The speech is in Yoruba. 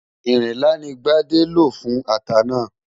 Ìrinlá ni Gbádé lò fún ata náà.